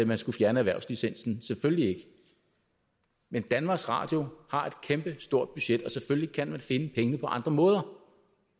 man skulle fjerne erhvervslicensen selvfølgelig ikke men danmarks radio har et kæmpestort budget og selvfølgelig kan man finde pengene på andre måder